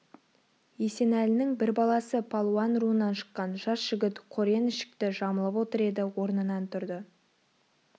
есенәлінің бір баласы палуан руынан шыққан жас жігіт қорен ішікті жамылып отыр еді орнынан тұрды